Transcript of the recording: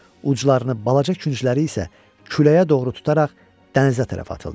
Uclarını balaca küncləri isə küləyə doğru tutaraq dənizə tərəf atıldı.